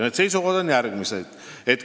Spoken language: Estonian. Need seisukohad on järgmised.